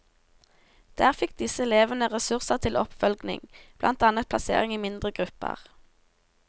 Der fikk disse elevene ressurser til oppfølging, blant annet plassering i mindre grupper.